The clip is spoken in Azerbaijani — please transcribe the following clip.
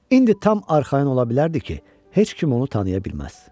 İndi tam arxayın ola bilərdi ki, heç kim onu tanıya bilməz.